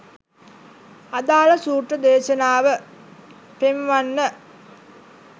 අදාල සූත්‍ර දේශනාව පෙන්වන්න.